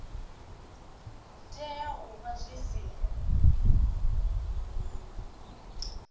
tea u vha zwi si